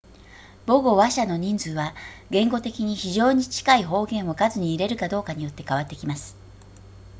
母語話者の人数は言語的に非常に近い方言を数に入れるかどうかによって変わってきます